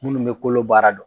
Munnu be kolo baara dɔn